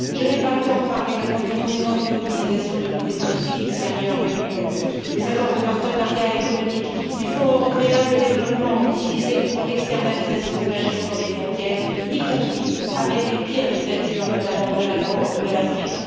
Je n'ai pas le temps de parler des conséquences des mobilisations de toutes les politiques extérieures de l'Union, des accords de partenariat économique, du Fonds européen de développement utilisé pour l'externalisation de la gestion des frontières, y compris avec les pires dictatures, notamment de la Corne de l'Afrique.